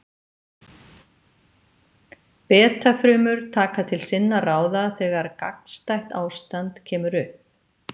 Beta-frumur taka til sinna ráða þegar gagnstætt ástand kemur upp.